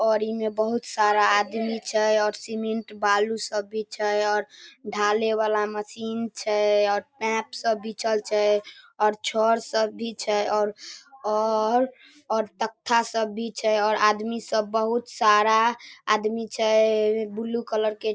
और इ में बहुत सारा आदमी छै और सीमेंट बालू सब भी छै और ढाले वाला मशीन छै और पाइप सब बिछल छै और छड़ सब भी छै और और और तख्ता सब भी छै और आदमी सब बहुत सारा आदमी छै ब्लू कलर के --